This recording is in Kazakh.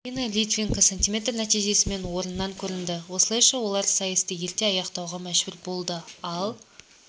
ирина литвиненко см нәтижесімен орыннан көрінді осылайша олар сайысты ерте аяқтауға мәжбүр болды ал